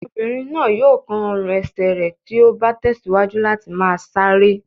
Ọmọbìnrin náà yóò kán ọrùn-ẹsẹ̀ rẹ̀ tí ó bá tẹ̀síwájú láti máa sáré.